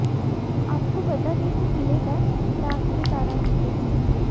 आपको बता दें कि पीले दांत दाग के कारण है होते हैं